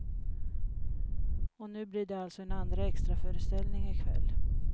Och nu blir det alltså en andra extraföreställning i kväll.